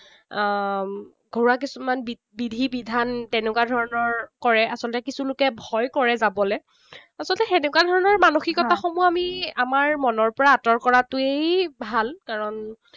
আহ ঘৰুৱা কিছুমান বিধি বিধান তেনেকুৱা ধৰণৰ কৰে। কিছু লোকে ভয় কৰে যাবলে। আচলতে হেনেকুৱা ধৰণৰ মানসিকতাসমূহ আমি আমাৰ মনৰ পৰা আঁতৰ কৰাটোৱেই ভাল। কাৰণ